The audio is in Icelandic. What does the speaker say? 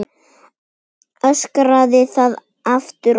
Öskraði það aftur og aftur.